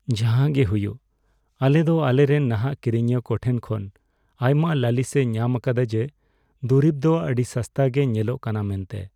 ᱡᱟᱦᱟᱜᱮ ᱦᱩᱭᱩᱜ, ᱟᱞᱮ ᱫᱚ ᱟᱞᱮᱨᱮᱱ ᱱᱟᱦᱟᱜ ᱠᱤᱨᱤᱧᱤᱭᱟᱹ ᱠᱚ ᱴᱷᱮᱱ ᱠᱷᱚᱱ ᱟᱭᱢᱟ ᱞᱟᱹᱞᱤᱥᱞᱮ ᱧᱟᱢ ᱟᱠᱟᱫᱟ ᱡᱮ ᱫᱩᱨᱤᱵ ᱫᱚ ᱟᱹᱰᱤ ᱥᱚᱥᱛᱟ ᱜᱮ ᱧᱮᱞᱚᱜ ᱠᱟᱱᱟ ᱢᱮᱱᱛᱮ ᱾